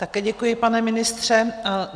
Také děkuji, pane ministře.